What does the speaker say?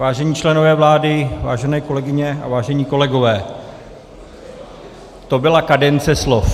Vážení členové vlády, vážené kolegyně a vážení kolegové, to byla kadence slov.